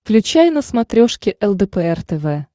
включай на смотрешке лдпр тв